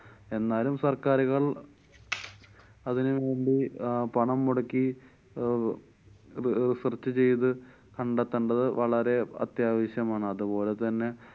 എന്നാലും സര്‍ക്കാരുകള്‍ അതിന് വേണ്ടി പണം മുടക്കി അഹ് ഒരു research ചെയ്ത് കണ്ടെത്തേണ്ടത്‌ വളരെ അത്യാവശ്യമാണ്. അതുപോലെതന്നെ